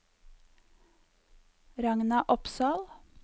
Ragna Opsahl